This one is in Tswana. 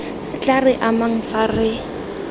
tla re amang fa re